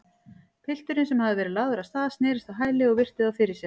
Pilturinn, sem hafði verið lagður af stað, snerist á hæli og virti þá fyrir sér.